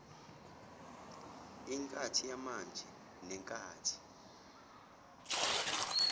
inkathi yamanje nenkathi